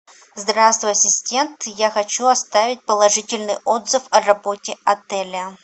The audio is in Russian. здравствуй ассистент я хочу оставить положительный отзыв о работе отеля